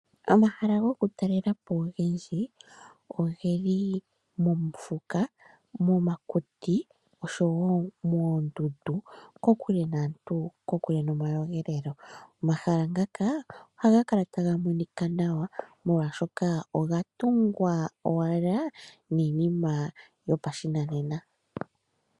Omahala goku talelapo ogendji ogeli mofuka, momakuti oshowo moondundu kokule naantu kokule nomayogelelo. Omahala ngaka ohaga kala taga monika nawa molwaashoka oga tungwa owala niinima yopashinanena.